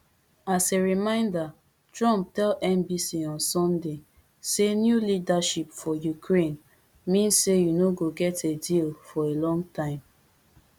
as a reminder trump tell nbc on sunday say new leadership [for ukraine] mean say you no go get a deal for a long time